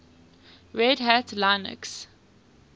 red hat linux